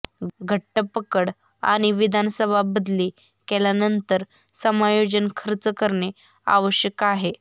घट्ट पकड आणि विधानसभा बदली केल्यानंतर समायोजन खर्च करणे आवश्यक आहे